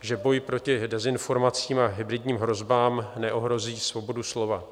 že boj proti dezinformacím a hybridním hrozbám neohrozí svobodu slova?